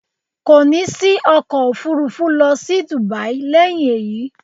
Ko ni sí ọkọ̀ Òfurufú lọ sí Dubai lẹ́yìn eyi